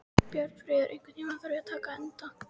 Björnfríður, einhvern tímann þarf allt að taka enda.